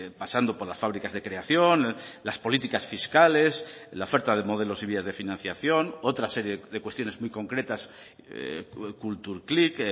pasando por las fábricas de creación las políticas fiscales la oferta de modelos y vías de financiación otra serie de cuestiones muy concretas kulturklik